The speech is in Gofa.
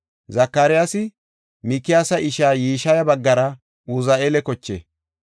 Zakariyasi Mikiyaasa ishaa Yishiya baggara Uzi7eela koche.